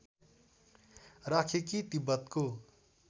राखे कि तिब्बतको